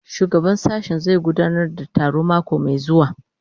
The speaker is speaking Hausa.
Shugaban sashen zai gudanar da taro mako mai zuwa